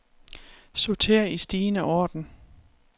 Sorter i stigende orden.